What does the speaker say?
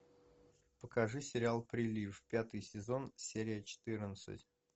покажи сериал прилив пятый сезон серия четырнадцать